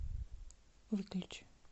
выключи